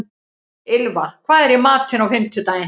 Ylfa, hvað er í matinn á fimmtudaginn?